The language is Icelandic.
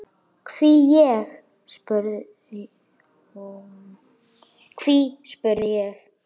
Hví, spurði ég?